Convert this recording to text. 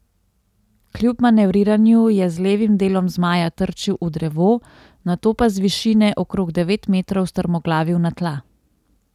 Kljub manevriranju je z levim delom zmaja trčil v drevo, nato pa z višine okrog devet metrov strmoglavil na tla.